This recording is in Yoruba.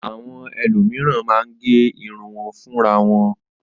Àwọn ènìyàn mìíràn máa ń gẹ irun wọn fúnra wọn.